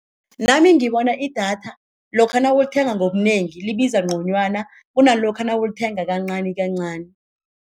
Nami ngibona idatha lokha nawulithenga ngobunengi libiza ngconywana kunalokha nawulithenga kancanikancani.